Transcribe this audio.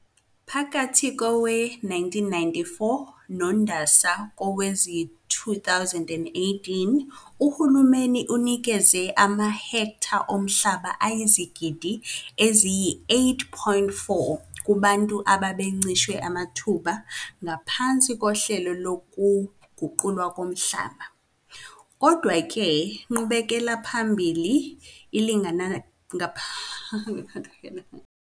Phakathi kowe-1994 noNdasa kowezi-2018 uhulumeni unikeze amahektha omhlaba ayizigidi eziyisi-8.4 kubantu abebencishwe amathuba ngaphansi kohlelo lokuguqulwa komhlaba. Kodwa le nqubekelaphambili ilingana.